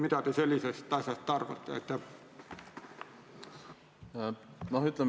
Mida te sellest asjast arvate?